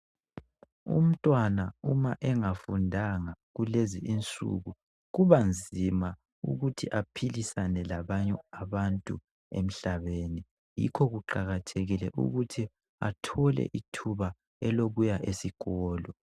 Umntwana uma engafundanga kulezi insuku , kubanzima ukuthi aphilisane labanye abantu emhlabeni. Yikho kuqakathekile ukuthi athole ithuba elokuya esikolo.